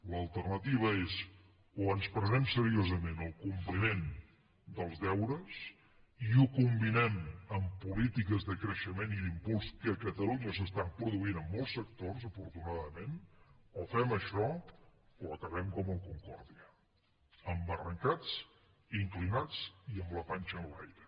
l’alternativa és o ens prenem seriosament el compliment dels deures i ho combinem ambpolítiques de creixement i d’impuls que a catalunya s’estan produint en molts sectors afortunadament o fem això o acabem com el concordia embarrancats inclinats i amb la panxa enlaire